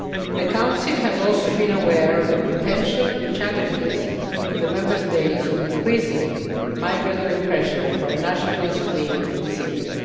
The Council has also been aware of the potential challenges to the Member States of increasing migratory pressure from nationals fleeing from Syria.